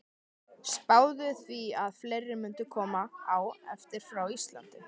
Spáði því að fleiri mundu koma á eftir frá Íslandi.